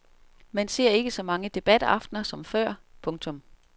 Man ser ikke så mange debataftener som før. punktum